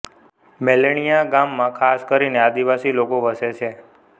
મેલણીયા ગામમાં ખાસ કરીને આદિવાસી લોકો વસે છે